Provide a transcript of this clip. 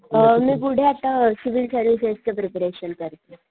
अ मी पुढे आता अ सिविल सर्व्हिसेस च प्रिपरेशन करतेय.